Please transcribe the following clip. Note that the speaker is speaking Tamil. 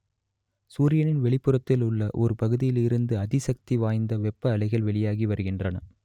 சூரியனின் வெளிப்புறத்திலுள்ள ஒர் பகுதியில் இருந்து அதிசக்தி வாய்ந்த வெப்ப அலைகள் வெளியாகி வருகின்றனர்